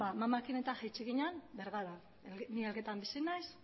amamarekin eta jaitsi ginen bergarara ni elgetan bizi naiz